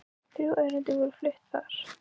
Þrjú erindi voru flutt þar